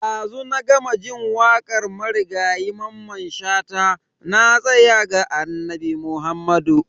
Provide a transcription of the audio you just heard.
Dazu na gama jin wakar marigayi Mamman Shata "Na tsaya ga Annabi Muhammadu".